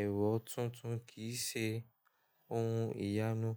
Ẹ̀rọ tuntun kì í ṣe ohun ìyanu.